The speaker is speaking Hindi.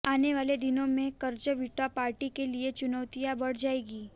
आने वाले दिनों में कंज़र्वेटिव पार्टी के लिए चुनौतियां बढ़ जाएंगी